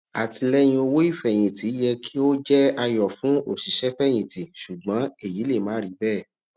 àtìlẹyìn owó ìfẹyìntì yẹ kí ó jẹ ayọ fún òṣìṣẹfẹyìntì ṣùgbọn èyí le má rí bẹẹ